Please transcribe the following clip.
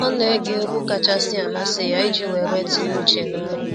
Ọ na ege egwu kachasị amasị ya iji weere tinye uche n’ọrụ.